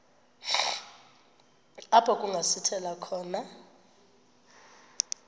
apho kungasithela khona